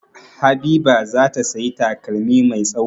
Habiba za ta sayi takalmi mai tsawo.